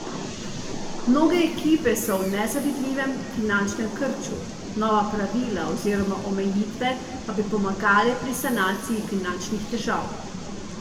Mnoge ekipe so v nezavidljivem finančnem krču, nova pravila oziroma omejitve pa bi pomagale pri sanaciji finančnih težav.